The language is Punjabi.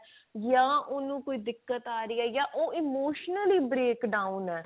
ਜਾਂ ਉਹਨੂੰ ਕੋਈ ਦਿਕਤ ਆ ਰਹੀ ਹੈ ਜਾਂ ਉਹ emotionally l break downਏ